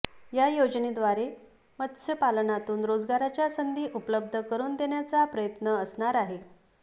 या योजनेद्वारे मत्स्यपालनातून रोजगाराच्या संधी उपलब्ध करुन देण्याचा प्रयत्न असणार आहे